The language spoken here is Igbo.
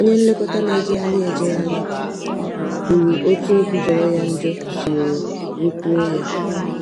Onye nlekọta na-ejegharị ejegharị kwuru otú obi jọrọ ya njọ siworo rikpuo ya.